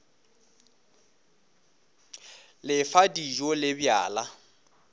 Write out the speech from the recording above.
le fa dijo le bjala